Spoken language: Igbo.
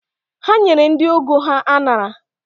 Ha nyere ndị ọgọ ha aṅara